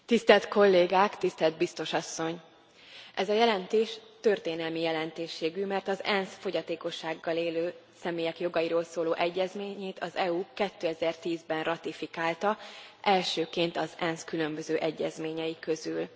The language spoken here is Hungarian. Elnök Úr, tisztelt Kollégák, tisztelt Biztos Asszony! Ez a jelentés történelmi jelentőségű, mert az ENSZ fogyatékossággal élő személyek jogairól szóló egyezményét az EU 2010 ben ratifikálta, elsőként az ENSZ különböző egyezményei közül.